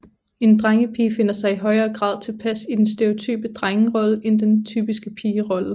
En drengepige finder sig i højere grad tilpas i den stereotype drengerolle end den typiske pigerolle